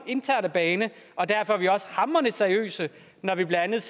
interne bane og derfor er vi også hamrende seriøse når vi blandt andet